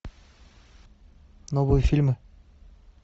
новые фильмы